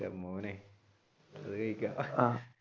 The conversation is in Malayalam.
എന്റെ മോനെ